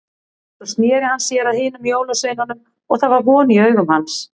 Svo sneri hann sér að hinum jólasveinunum og það var von í augum hans.